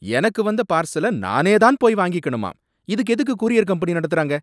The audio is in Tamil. எனக்கு வந்த பார்சல நானே தான் போய் வாங்கிக்கணுமாம், இதுக்கு எதுக்கு கூரியர் கம்பெனி நடத்துறாங்க!